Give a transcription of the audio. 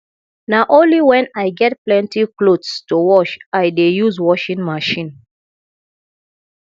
na only wen i get plenty cloths to wash i dey use washing machine